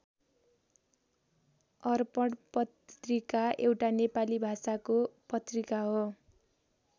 अर्पण पत्रिका एउटा नेपाली भाषाको पत्रिका हो।